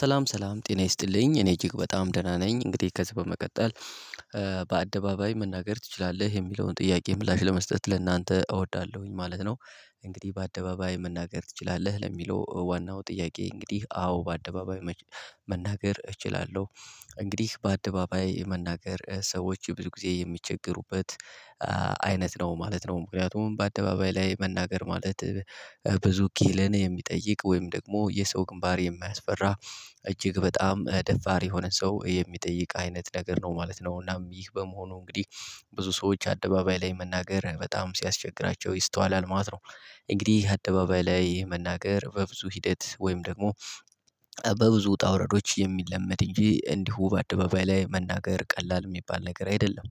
ሰላም ሰላም ጤና ይስጥልኝ እኔ እጅግ በጣም ደህና ነኝ። እንግዲህ ከዚህ በመቀጠል በአደባባይ መናገር ትችላለህ የሚለውን ጥያቄ ምላሽ ለመስጠት ለእናንተ እወዳለሁኝ ማለት ነው። እንግዲህ በአደባባይ መናገር ትችላለህ ለሚለው ዋናው ጥያቄ እንግዲህ አዎ በአደባባይ መናገር እችላለሁ። እንግዲህ በአደባባይ የመናገር ሰዎች ብዙ ጊዜ የሚቸገሩበት አይነት ነው ማለት ነው። ምክንያቱም በአደባባይ ላይ መናገር ማለት ብዙ ኪህልን የሚጠይቅ ወይም ደግሞ የሰው ግንባር የማያስፈራ እጅግ በጣም ደፋር የሆነ ሰው የሚጠይቅ አይነት ነገር ነው ማለት ነው። እናም ይህ በመሆኑ እንግዲህ ብዙ ሰዎች አደባባይ ላይ መናገር በጣም ሲያስቸግራቸው ይስተዋላል ማለት ነው። እንግዲህ አደባባይ ላይ መናገር በብዙ ሂደት ወይም ደግሞ በብዙ ውጣ ውረዶች የሚለመድ እንጂ እንዲሁ በአደባባይ ላይ መናገር ቀላል የሚባል ነገር አይደለም።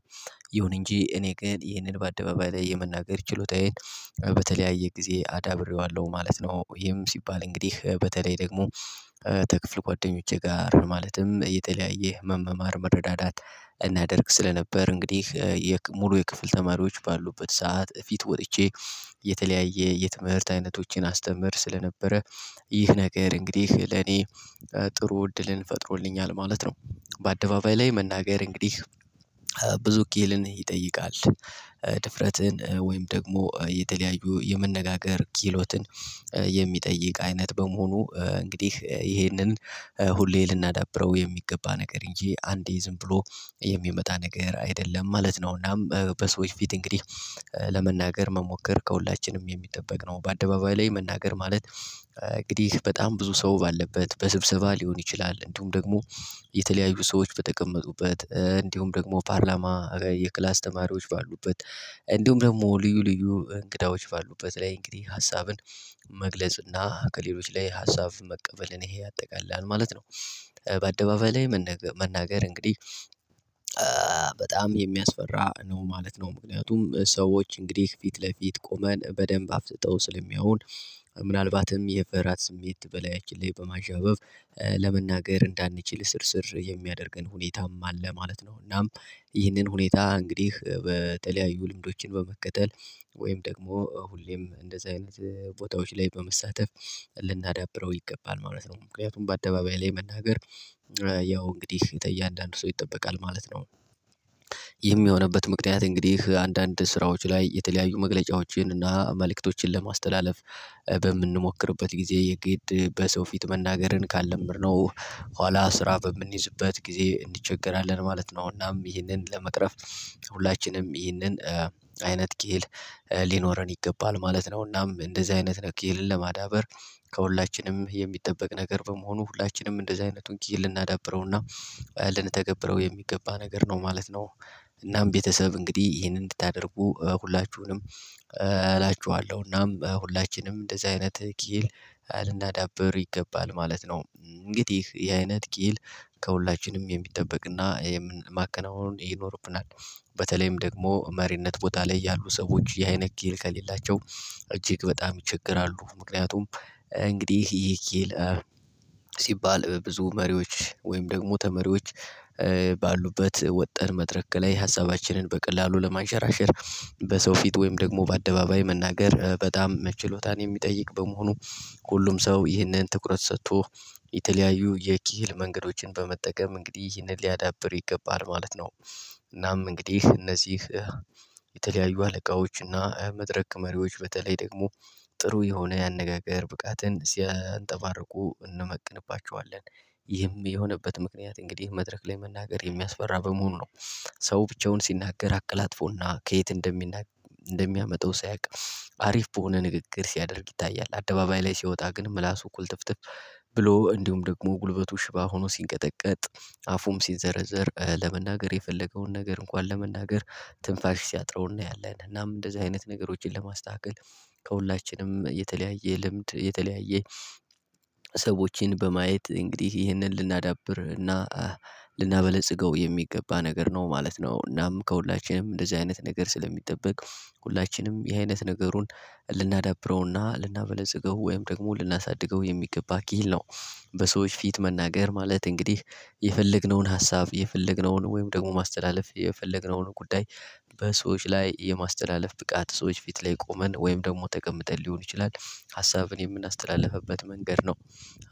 ይሁን እንጂ እኔ ግን ይህንን በአደባባይ ላይ የመናገር ችሎታዬን በተለያየ ጊዜ አዳብሬዋለሁ ማለት ነው። እሂም ሲባል እንግዲህ በተለይ ደግሞ ተክፍል ጓደኞቼ ጋር ማለትም የተለያየ መመማር መረዳዳት እናደርግ ስለነበር እንግዲህ የሙሉ የክፍል ተማሪዎች ባሉበት ሰዓት ፊት ወጥቼ የተለያየ የትምህርት አይነቶቼን አስተምር ስለነበረ ይህ ነገር እንግዲህ ለኔ ጥሩ እድልን ፈጥሮልኛል ማለት ነው። በአደባባይ ላይ መናገር እንግዲህ ብዙ ክህልን ይጠይቃል። ድፍረትን ወይም ደግሞ የተለያዩ የመነጋገር ኪሎትን የሚጠይቅ አይነት በመሆኑ እንግዲህ ይሄንን ሁሌ ልናዳብረው የሚገባ ነገር እንጂ አንዴ ዝም ብሎ የሚመጣ ነገር አይደለም ማለት ነውና በሰዎች ፊት እንግዲህ ለመናገር መሞከር ከሁላችንም የሚጠበቅ ነው። በአደባባይ ላይ መናገር ማለት እንግዲህ በጣም ብዙ ሰው ባለበት በስብሰባ ሊሆን ይችላል እንዲሁም ደግሞ የተለያዩ ሰዎች በተቀመጡበት እንዲሁም ደግሞ ፓርላማ የክላስ ተማሪዎች ባሉበት እንዲሁም ደግሞ ልዩ ልዩ እንግዳዎች ባሉበት ላይ እንግዲህ ሀሳብን መግለጽ እና ከሌሎች ላይ ሀሳብ መቀበልን ይሄ ያጠቃልላልማለት ነው። በአደባባይ ላይ መነገ መናገር እንግዲህ በጣም የሚያስፈራ ነው ማለት ነው ምክንያቱም ሰዎች እንግዲህ ፊት ለፊት ቆመን በደንብ አፍጥጠው ስለሚያዩን ምናልባትም የፍራት ስሜት በላያላችን በማዣበብ ለመናገር እንዳንችል እስርስር የሚያደርገን ሁኔታም አለ ማለት ነው። እናም ይህንን ሁኔታ እንግዲህ በተለያዩ ልምዶችን በመከተል ወይም ደግሞ ሁሌም እንደዚህ አይነት ቦታዎች ላይ በመሳተፍ ልናዳብረው ይገባል ማለት ነው። ምክንያቱም በአደባባይ ላይ መናገር ያው እንግዲህ ተያንዳንዱ ሰው ይጠበቃል ማለት ነው። ይህም የሆነበት ምክንያት እንግዲህ አንዳንድ ስራዎች ላይ የተለያዩ መግለጫዎችን እና መልእክቶችን ለማስተላለፍ ጊዜ የግድ በሰው ፊት መናገርን ካልለመድነው ኋላ ስራ በምንይዝበት ጊዜ እንቸገርአለን ማለት ነው። አሁን እናም ይህንን ለመቅረፍ ሁላችንም ይህንን አይነት ኪሂል ሊኖረን ይገባል ማለት ነው። እናም እንደዚህ አይነት ኪህልን ለማዳበር ከሁላችንም የሚጠበቅ ነገር በመሆኑ ሁላችንም እንደዚህ አይነቱን ኪሂል ልናዳብረውና ልንተገብረው የሚገባ ነገር ነው ማለት ነው። እናም ቤተሰብ እንግዲህ ይሄንን እንድታደርጉ ሁላችሁንም እላችኋለሁ እናም ሁላችንም እንደዚህ አይነት ኪሂል አልናዳበር ይገባል ማለት ነው። እንግዲህ የአይነት ኪሂል ከሁላችንም የሚጠበቅና የማከናወኑን ይኖርብናል በተለይም ደግሞ መሪነት ቦታ ላይ ያሉ ሰዎች ይሂ አይነት ኪሂል ከሌላቸው እጅግ በጣም ይቸገራሉ። ምክንያቱም እንግዲህ ይሄ ኪሂል ሲባል ብዙ መሪዎች ወይም ደግሞ ተመሪዎች ባሉበት ወጠን መድረክ ላይ ሀሳባችንን በቀላሉ ለማንሸራሸር በሰው ፊት ወይም ደግሞ በአደባባይ መናገር በጣም መችሎታን የሚጠይቅ በመሆኑ ሁሉም ሰው ይህንን ትኩረት ሰጥቶ የተለያዩ የኪህል መንገዶችን በመጠቀም እንግዲህ ይህንን ሊያዳብር ይገባል ማለት ነው። እናም እንግዲህ እነዚህ የተለያዩ አለቃዎች እና መድረክ መሪዎች በተለይ ደግሞ ጥሩ የሆነ ያነጋገር ብቃትን ሲያንጠባርቁ እንመቅንባቸዋለን ይህም የሆነበት ምክንያት እንግዲህ መድረክ ላይ መናገር የሚያስፈራ በመሆኑ ነው። ሰው ብቻውን ሲናገር አቀላጥፎና ከየት እንደሚናገር እንደሚያመጣው ሳያውቅ አሪፍ በሆነ ንግግር ሲያደርግ ይታያል አደባባይ ላይ ሲወጣ ግን ምላሱ ኩልትፍትፍ ብሎ እንዲሁም ደግሞ ጉልበቱ ሽባ ሆኖ ሲንቀጠቀጥ አፉም ሲንዘረዘር ለመናገር የፈለገውን ነገር እንኳን ለመናገር ትንፋሽ ሲያጥረው እናያለን። እናም እንደዚህ አይነት ነገሮችን ለማስተካከል ከሁላችንም የተለያየ ልምድ የተለያየ ሰዎችን በማየት እንግዲህ ይህንን ልናዳብርና ልናበለጽገው የሚገባ ነገር ነው ማለት ነው። እናም ከሁላችንም እንደዚህ አይነት ነገር ስለሚጠበቅ ሁላችንም ይህ አይነት ነገሩን ልናዳብረውና ልናበለጽገው ወይም ደግሞ ልናሳድገው የሚገባ ኪሂል ነው። በሰዎች ፊት መናገር ማለት እንግዲህ የፈለግነውን ሀሳብ የፈለግነውን ወይም ደግሞ ማስተላለፍ የፈለግነውን ጉዳይ በሰዎች ላይ የማስተላለፍ ብቃት ሰዎች ፊት ላይ ቆመን ወይም ደግሞ ተቀምጠን ሊሆን ይችላል። ሀሳብን የምናስተላልፍበት መንገድ ነው።